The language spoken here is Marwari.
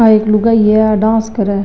आ एक लुगाई है आ डांस करे।